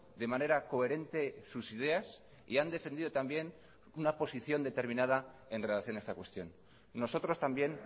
de manera coherente sus ideas y han defendido también una posición determinada en relación a esta cuestión nosotros también